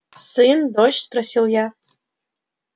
сын дочь спросил я